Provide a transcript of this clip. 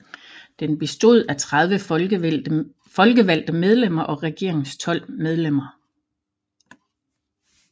Den bestod af 30 folkevalgte medlemmer og regeringens 12 medlemmer